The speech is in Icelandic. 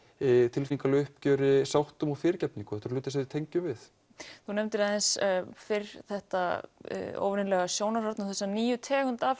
tilfinningalegu uppgjöri sáttum og fyrirgefningu þetta eru hlutir sem við tengjum við þú nefndir aðeins fyrr þetta óvenjulega sjónarhorn og þessa nýju tegund af